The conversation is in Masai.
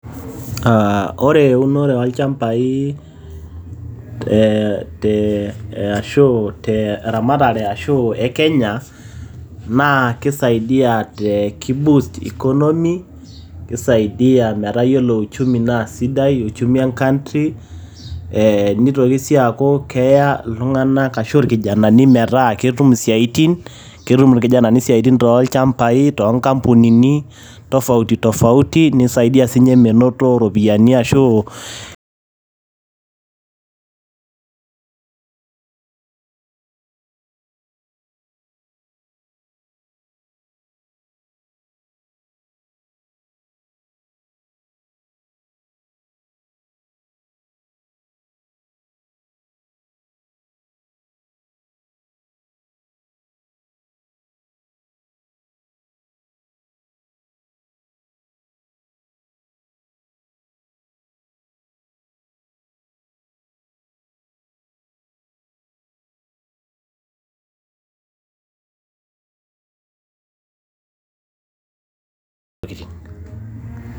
Aaah ore eunore oo ilchambai te eeh te ashu teramatare ashu e Kenya naa keisaidia te kei boost ecomomy keisaidia metaa yiolo uchumi naa sidai uchumi e country. Nitoki sii aaku keya iltung`anak ashu ilkijanani metaa ketum isiatin ketum ilkijnani isiaitin too ilchambai too nkampunini tofaoti tofauti neisaidia sii ninche menoto.